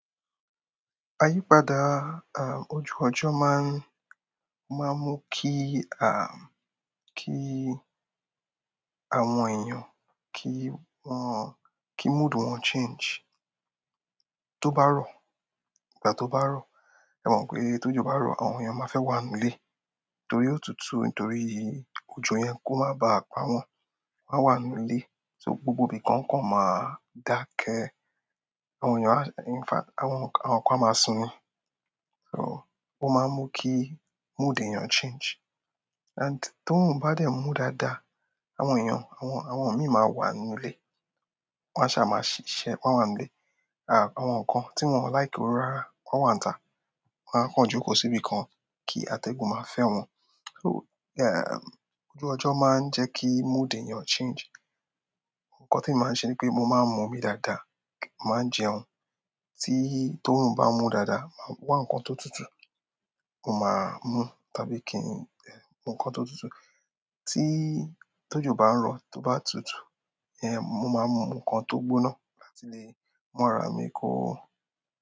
Àyípadà ojú ọjọ́ máa ń, máa ń mú kí, kí àwọn èèyàn kí wọ́n-- kí mood wọn change. Tó bá rò, ìgbà tó bá rò, ẹ mọ̀ pé t'ójò bá rò, àwọn èèyàn ma fẹ́ wà nínú ilé torí òtútù. Nítorí òjò yen kó má ba à pa wọ́n, wọ́n á wà nínú ilé. So gbogbo ibìkan kò máa dá kẹ́. Àwọn èèyàn á- in fact àwọn ìkan á máa sinmi. So ó máa n mú kí mood èèyàn change and tórùn bá dẹ̀ mú dáadáa, àwọn èèyàn, àwọn, àwọn míì máa wà nínú ilé. Wọ́n a sá máa sisé, wọ́n á wà nílé, àwọn nǹkan tí won ò like oru rárá wọ́n á wà ní ta. Wọ́n á kàn jókòó síbì kan kí atẹ́gùn máa fẹ́ wọn. Ojú ọjọ́ máa ń jẹ́ kí mood èèyàn change. Nkan tí èmi màá n ṣe ni pé mo máa ń mu omi dáadáa, mo màá ń jẹun. Tí tórùn bá mú dáadáa, máa wá nǹkan tó tutù, mo máa mú tábí kí n mù nkan tó tutù. Tí tọ́jò bá ń rò, tó bá tutù, mo máa mu nǹkan tó gbóná láti lè mú ara mìi kó.